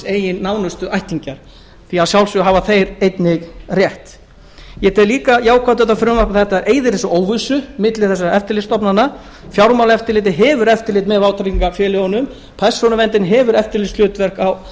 eigin nánustu ættingjar að sjálfsögðu hafa þeir einnig rétt ég tel líka jákvætt við þetta frumvarp að það eyðir óvissu milli þessara eftirlitsstofnana fjármálaeftirlitið hefur eftirlit með vátryggingafélögunum persónuverndin hefur eftirlitshlutverk á